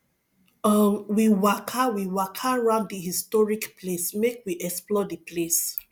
um we waka we waka round di historic place make we explore di place